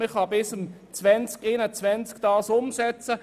Man kann ihn bis zum Jahr 2021 umsetzen.